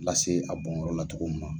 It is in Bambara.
Lase a bɔnyɔrɔ la cogo na.